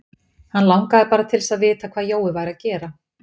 Hann langaði bara til að vita hvað Jói væri að gera.